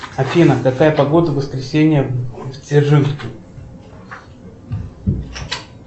афина какая погода в воскресенье в дзержинске